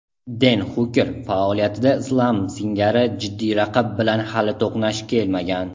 Den Xuker faoliyatida Islam singari jiddiy raqib bilan hali to‘qnash kelmagan.